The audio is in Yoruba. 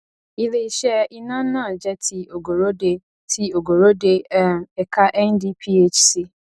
iléiṣẹ iná náà jẹ ti ogorode ti ogorode um ẹka ndphc